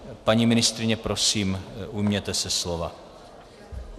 Paní ministryně, prosím, ujměte se slova.